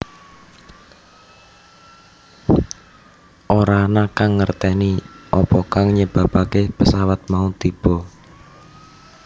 Ora ana kang ngerteni apa kang nyebabake pesawat mau tiba